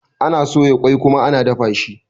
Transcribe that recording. Ana soya ƙoi kuma ana dafa shi.